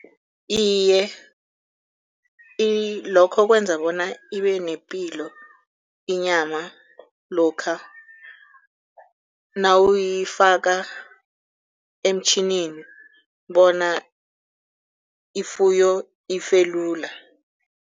Iye lokho kwenza bona ibe nepilo inyama lokha nawuyifaka emtjhinini bona ifuyo ife lula.